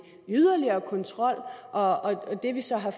yderligere kontrol og at det vi så har